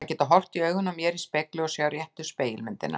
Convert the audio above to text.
Að geta horft í augun á mér í spegli og sjá réttu spegilmyndina.